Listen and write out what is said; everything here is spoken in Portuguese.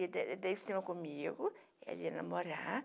ia ao cinema comigo, ela ia namorar.